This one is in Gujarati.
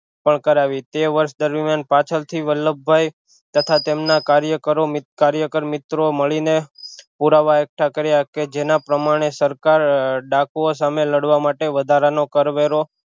પણ કરાવી તે વર્ષ દરમિયાન પાછળ થી વલ્લભભાઈ તથા તેમના કાર્યકરો કાર્યકરમિત્રો મળીને પુરાવા એકઠા કર્યા કે જેના પ્રમાણે સરકાર ડાકુઑ સામે લડવા માટે વધારા નો કરવેરો